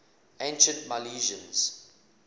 ancient milesians